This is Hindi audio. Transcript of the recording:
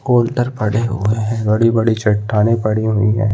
कोल्लटर पड़े हुए है बड़ी-बड़ी चटाने पड़ी हुई है।